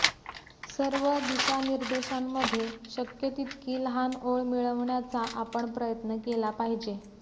सर्व दिशानिर्देशांमधे शक्य तितकी लहान ओळ मिळविण्याचा आपण प्रयत्न केला पाहिजे